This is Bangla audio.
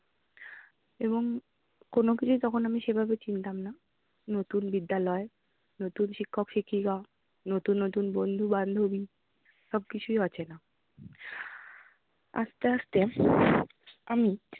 এবং কোনো কিছু তখন আমি সেভাবে চিনতাম না। নতুন বিদ্যালয়, নতুন শিক্ষক শিক্ষিকা, নতুন নতুন বন্ধু বান্ধবী সব কিছুই অচেনা। আস্তে আস্তে আমি